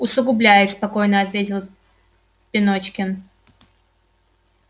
усугубляет спокойно ответил пеночкин